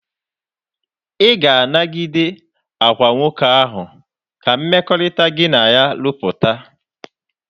Ị ga-anagide agwa nwoke ahụ ka mmekọrịta gị na ya rụpụta?